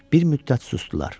Bir müddət susdular.